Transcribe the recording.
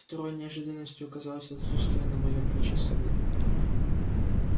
второй неожиданностью оказалось отсутствие на моем плече совы